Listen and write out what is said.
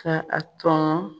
Ka a tɔn